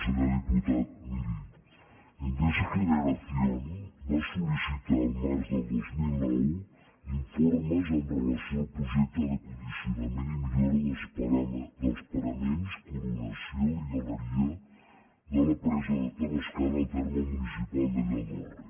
senyor diputat miri endesa generación va sol·licitar el març del dos mil nou informes amb relació al projecte de condicionament i millora dels paraments coronació i galeria de la presa de tavascan al terme municipal de lladorre